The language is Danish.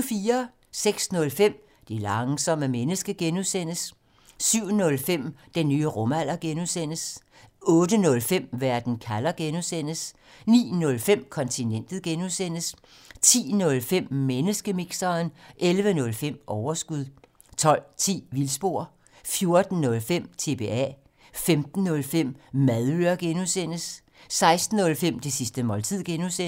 06:05: Det langsomme menneske (G) 07:05: Den nye rumalder (G) 08:05: Verden kalder (G) 09:05: Kontinentet (G) 10:05: Menneskemixeren 11:05: Overskud 12:10: Vildspor 14:05: TBA 15:05: Madøre (G) 16:05: Det sidste måltid (G)